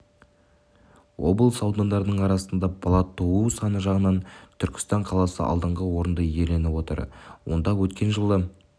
облыс аудандарының арасында бала туу саны жағынан түркістан қаласы алдыңғы орынды иеленіп отыр онда өткен жылы